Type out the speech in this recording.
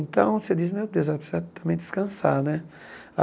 Então você diz, meu Deus, ela precisa também descansar, né?